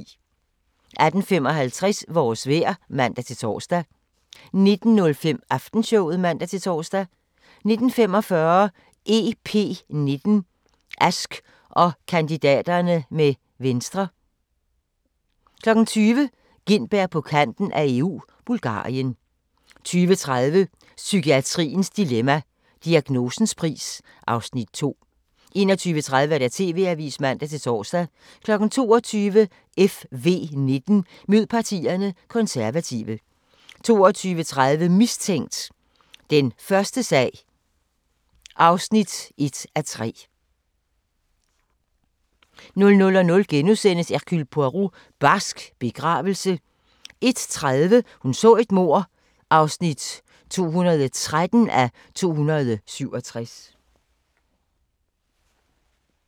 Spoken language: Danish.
18:55: Vores vejr (man-tor) 19:05: Aftenshowet (man-tor) 19:45: EP19: Ask og kandidaterne med Venstre 20:00: Gintberg på kanten af EU – Bulgarien 20:30: Psykiatriens dilemma – Diagnosens pris (Afs. 2) 21:30: TV-avisen (man-tor) 22:00: FV19: Mød partierne – Konservative 22:30: Mistænkt: Den første sag (1:3) 00:00: Hercule Poirot: Barsk begravelse * 01:30: Hun så et mord (213:267)